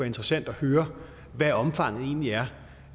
interessant at høre hvad omfanget egentlig er